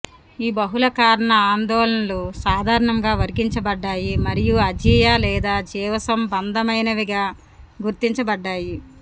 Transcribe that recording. ఈ బహుళ కారణ ఆందోళనలు సాధారణంగా వర్గీకరించబడ్డాయి మరియు అజీయ లేదా జీవసంబంధమైనవిగా గుర్తించబడ్డాయి